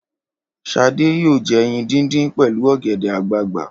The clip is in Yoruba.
Ṣadé yóò jẹ ẹyin dídín pẹ̀lú ọ̀gẹ̀dẹ̀ àgbagbà.